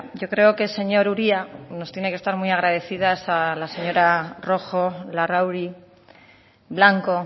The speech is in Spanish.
yo creo que señor uria nos tiene que estar muy agradecidas a la señora rojo larrauri blanco